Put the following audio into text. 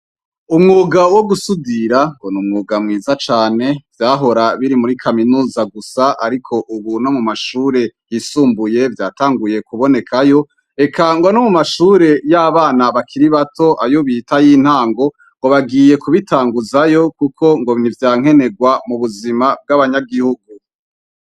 Umwuga wo gusudira ngo n'umwuga mwiza cane, vyahora biri muri kaminuza gusa, ariko ubu no mu mashure yisumbuye vyatanguye kubonekayo, eka ngo no mu mashure y'abana bakiri bato ayo bita ayintango ngo bagiye kubitanguzayo kuko ngo nivyankenerwa mu buzima bw'abanyagihugu.